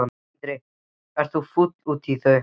Sindri: Ert þú fúll út í þau?